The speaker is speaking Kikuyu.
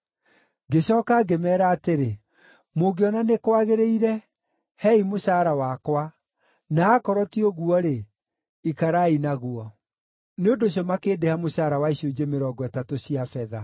Ngĩcooka ngĩmeera atĩrĩ, “Mũngĩona nĩ kwagĩrĩire, Heei mũcaara wakwa, na aakorwo ti ũguo-rĩ, ikarai naguo.” Nĩ ũndũ ũcio makĩndĩha mũcaara wa icunjĩ mĩrongo ĩtatũ cia betha.